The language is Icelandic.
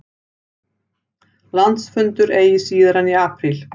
Landsfundur eigi síðar en í apríl